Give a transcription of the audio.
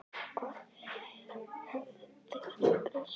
Og hvað hefðu þeir grætt á því?